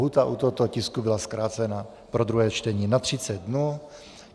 Lhůta u tohoto tisku byla zkrácena pro druhé čtení na 30 dnů.